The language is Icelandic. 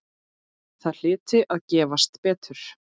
Það hlyti að gefast betur.